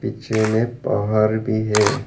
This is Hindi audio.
पीछे में पहार भी है।